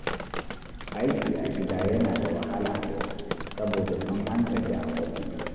Aiki a gida yana da wahala a yau saboda tuni an gaji a ofis.